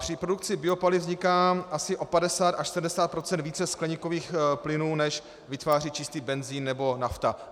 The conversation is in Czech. Při produkci biopaliv vzniká asi o 50 až 70 % více skleníkových plynů, než vytváří čistý benzin nebo nafta.